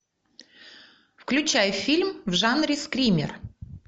включай фильм в жанре скример